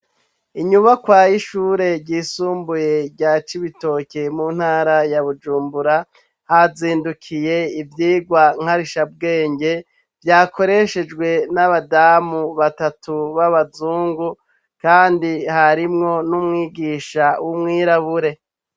Inyubakwa y'ishure ryisumbuye rya cibitoke mu ntara ya bujumbura, hazindukiye ivyigwa nkarishabwenge, vyakoreshejwe n'abazamu batatu b'abazungu kandi harimwo n'umwigisha w'umwirabure.